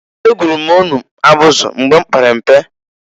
Egwuru m ọnụ abụzị mgba m pere mpe.